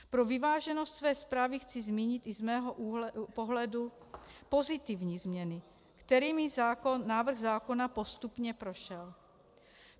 Pro vyváženost své zprávy chci zmínit i z mého pohledu pozitivní změny, kterými návrh zákona postupně prošel.